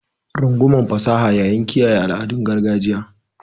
Rungumi fasaha yayin kiyaye al'adun gargajiya.